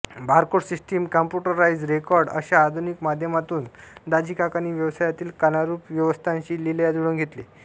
barcode system computerised record अशा आधुनिक माध्यमातून दाजीकाकांनी व्यवसायातील कालानुरूप व्यवस्थांशी लीलया जुळवून घेतले